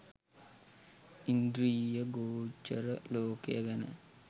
ඉන්ද්‍රිය ගෝචර ලෝකය ගැන